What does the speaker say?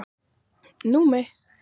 Númi